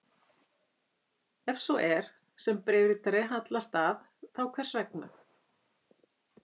Ef svo er, sem bréfritari hallast að, þá hvers vegna?